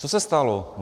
Co se stalo?